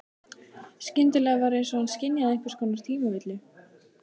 Skyndilega var einsog hann skynjaði einhvers konar tímavillu.